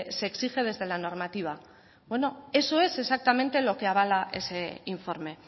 se exige desde la normativa bueno eso es exactamente lo que avala ese informe